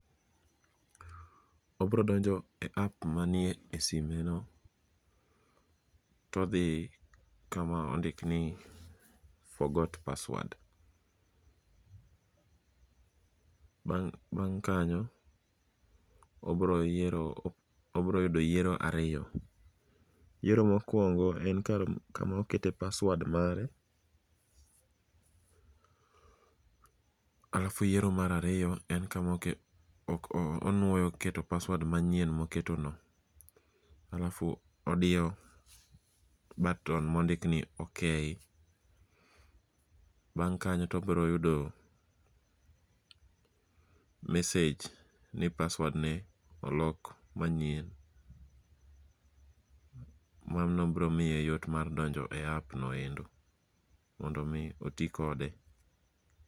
Obrodonjo e app manie e sime no, todhi kama ondik ni forgot password. Bang' kanyo, obroyudo yiero ariyo, yiero mokwongo en kama okete paswad mare. Alafu yiero marariyo en kama oke, ok on, onwuoyo keto paswad manyien moketo no. Alafu odiyo baton mondikni ok. Bang' kanyo tobroyudo mesej ni paswadne olok manyien. Mano bro miye yot mar donjo e app noendo mondo mi oti kode.